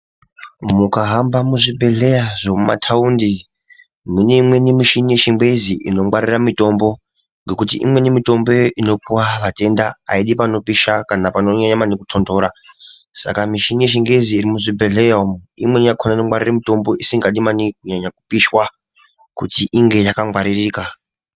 Mukahamba muzvibhedhleya zvemumataundi mune imweni mishini yechingezi inongwarira mitombo ngekuti imweni mitomboyo inopuwa vatenda aidi panopisha kana panonyanya maningi kutontora, saka mishini yechingezi iri muzvibhedhleya umu imweni yakhona inongwarire mitombo isingadi maningi kunyanya kupishwa kuti inge yakangwaririka.